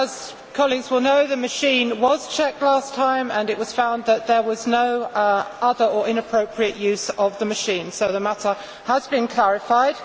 As colleagues will know, the machine was checked last time and it was found that there was no other or inappropriate use of the machine, so the matter has been clarified.